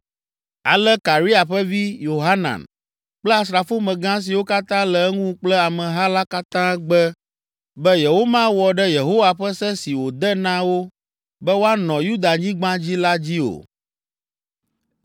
Ale Karea ƒe vi, Yohanan kple asrafomegã siwo katã le eŋu kple ameha la katã gbe be yewomawɔ ɖe Yehowa ƒe se si wòde na wo be woanɔ Yudanyigba dzi la dzi o.